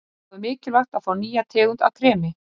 Þá er mikilvægt að fá nýja tegund af kremi.